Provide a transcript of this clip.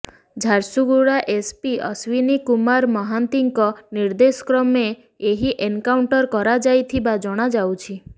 Jharsuguda S P Ashwini Kumar ମହାନ୍ତିଙ୍କ ନିର୍ଦ୍ଦେଶକ୍ରମେ ଏହି ଏନକାଉଣ୍ଟର କରାଯାଇଥିବା ଜଣାଯାଇଛି